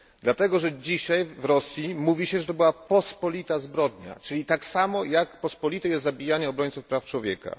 Dlatego, że dzisiaj w Rosji mówi się, że to była pospolita zbrodnia, czyli tak samo, jak pospolite jest zabijanie obrońców praw człowieka.